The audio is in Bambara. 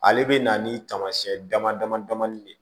Ale bɛ na ni taamasiyɛn damadama de ye